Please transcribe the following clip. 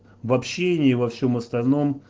в общении во всем остальном